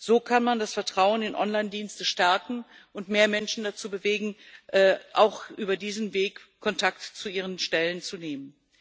So kann man das Vertrauen in Online Dienste stärken und mehr Menschen dazu bewegen, auch über diesen Weg Kontakt zu ihren Stellen aufzunehmen.